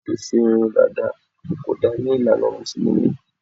Ṣíṣe irun dàda kò dára ní ìlànà Mùsùlùmí